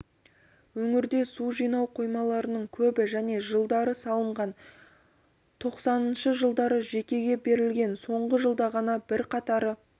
өңірде су жинау қоймаларының көбі және жылдары салынған тоқсаныншы жылдары жекеге берілген соңғы жылда ғана бірқатары